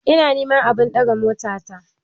Ina niman abun daga mota ta